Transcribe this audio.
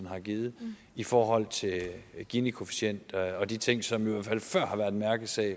har givet i forhold til ginikoefficient og de ting som jo i hvert fald før har været mærkesager